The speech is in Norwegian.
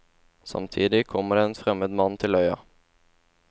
Samtidig kommer det en fremmed mann til øya.